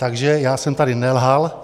Takže já jsem tady nelhal.